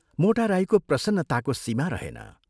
मोटा राईको प्रसन्नताको सीमा रहेन।